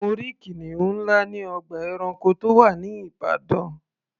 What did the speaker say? Mo rí kìnìún ńlá ní ọgbà ẹranko tó wà ní Ìbàdàn.